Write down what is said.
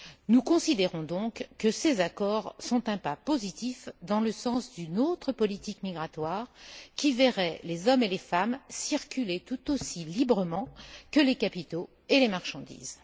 Nous considérons donc que ces accords sont un pas positif dans le sens d'une autre politique migratoire qui verrait les hommes et les femmes circuler tout aussi librement que les capitaux et les marchandises.